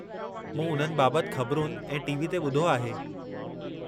मूं उन्हनि बाबतु ख़बरुनि ऐं टी.वी. ते ॿुधो आहे।